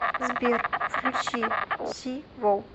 сбер включи сивов